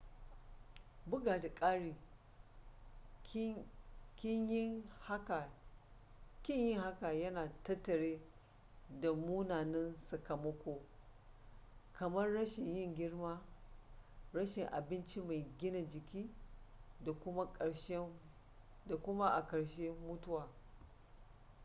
bugu da ƙari ƙin yin hakan yana tattare da munanan sakamako:kamar rashin yin girma rashin abinci mai gina jiki da kuma a karshe mutuwa